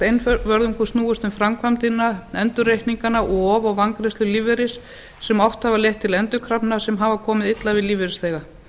nánast einvörðungu snúist um framkvæmdina endurreikningana of og vangreiðslu lífeyris sem oft hafa leitt til endurkrafna sem hafa komið illa við lífeyrisþega